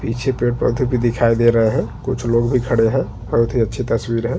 पीछे पेड़ पौधे भी दिखाई दे रहे है कुछ लोग भी खड़े है बहोत ही अच्छी तस्वीर है।